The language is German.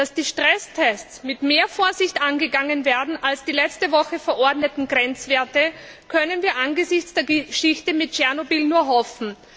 Dass die Stresstests mit mehr Vorsicht angegangen werden als die letzte Woche verordneten Grenzwerte, können wir angesichts der Geschichte mit Tschernobyl nur hoffen.